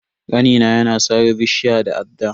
Kanina ya na sare bishiyar da adda.